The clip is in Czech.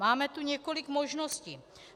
Máme tu několik možností.